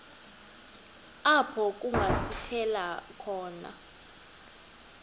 apho kungasithela khona